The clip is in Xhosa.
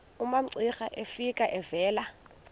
umamcira efika evela